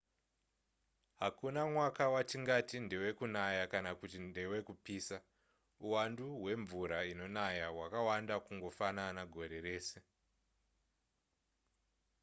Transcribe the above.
hakuna mwaka watingati ndewekunaya kana kuti ndewekupisa uwandu hwemvura inonaya hwakada kungofanana gore rese